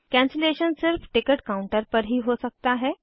cancellation सिर्फ ticket counter पर ही हो सकता है